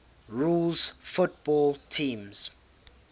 rules football teams